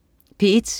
P1: